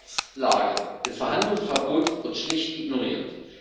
Die Rechtslage des Verhandlungsverbots wird schlicht ignoriert.